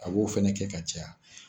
A b'o fana kɛ ka caya